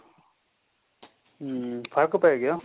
ਹਮ ਫਰਕ ਪੈ ਗਿਆ